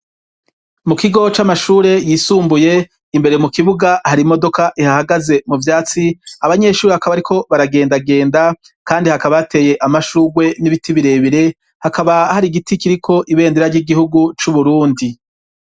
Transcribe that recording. Mu kigo c'amashure yisumbuye imbere mu kibuga hari imodoka ihahagaze mu vyatsi abanyeshure hakaba ari ko baragendagenda kandi hakaba hateye amashurwe n'ibiti birebire hakaba hari giti kiriko ibendera ry'igihugu c'Uburundi.